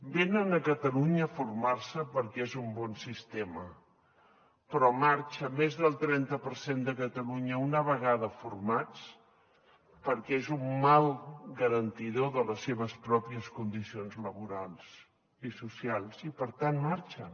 venen a catalunya a formar se perquè és un bon sistema però marxa més del trenta per cent de catalunya una vegada formats perquè és un mal garantidor de les seves pròpies condicions laborals i socials i per tant marxen